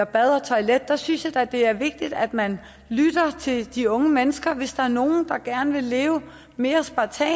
bad og toilet synes jeg da at det er vigtigt at man lytter til de unge mennesker hvis der er nogle der gerne vil leve mere spartansk